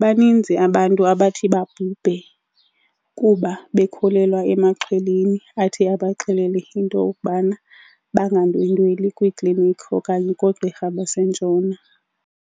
baninzi abantu abathi babhubhe kuba bekholelwa emaxhweleni athi abaxelele into yokubana bangandwendweli kwiiklinikhi okanye koogqirha baseNtshona.